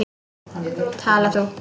Tala þú.